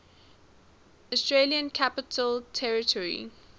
australian capital territory